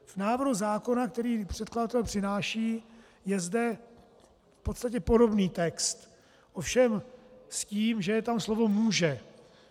V návrhu zákona, který předkladatel přináší, je zde v podstatě podobný text ovšem s tím, že je tam slovo "může".